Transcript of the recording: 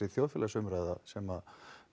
þjóðfélagsumræða sem